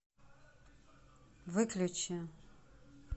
выключи